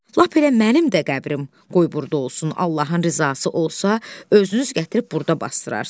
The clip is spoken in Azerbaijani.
Lap elə mənim də qəbrim qoy burda olsun, Allahın rızası olsa, özünüz gətirib burda basdırarsınız.